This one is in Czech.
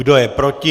Kdo je proti?